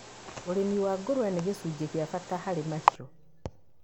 ũrĩmi wa ngũrũwe nĩ gĩcunjĩ gĩa bata harĩ mahiũ,